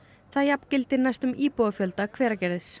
það jafngildir næstum íbúafjölda Hveragerðis